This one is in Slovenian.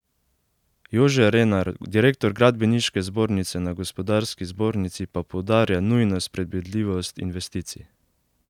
Jože Renar, direktor gradbeniške zbornice na Gospodarski zbornici, pa poudarja nujnost predvidljivosti investicij.